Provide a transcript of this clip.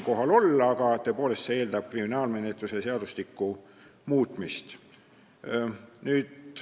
Aga tõepoolest, see eeldab kriminaalmenetluse seadustiku muutmist.